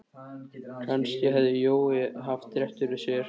Kannski hafði Jói haft rétt fyrir sér.